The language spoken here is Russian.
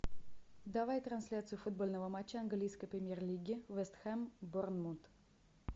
давай трансляцию футбольного матча английской премьер лиги вест хэм борнмут